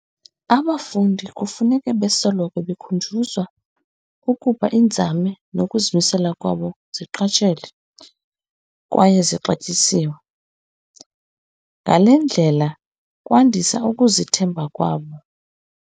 "Abafundi kufuneka besoloko bekhunjuzwa ukuba iinzame nokuzimisela kwabo ziqatshelwe kwaye zixatyisiwe, ngale ndlela kwandisa ukuzithemba kwabo."